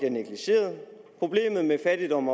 fattigdom